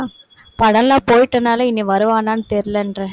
படம் எல்லாம் போயிட்டதுனால இனி வருவானான்னு தெரியலைன்றேன்